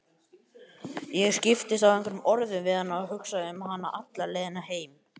Ég skiptist á einhverjum orðum við hana og hugsaði um hana alla leiðina heim.